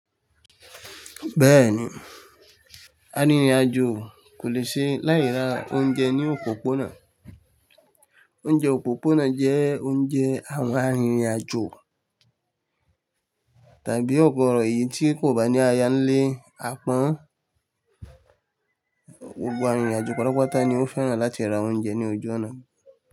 Bẹ́ẹ̀ni, a rìnrìn àjò kò lè ṣe láì ra oúnjẹ ní òpópónà. Oúnjẹ òpópónà jẹ́ oúnjẹ àwọn a rìnrìn àjò tàbí ọ̀gọ̀rọ̀ yìí tí kò bá ní aya ń lé apán. Gbogbo a rìnrìn àjò pátápátá ni ó fẹ́ràn láti ra oúnjẹ ní ojú ọ̀nà.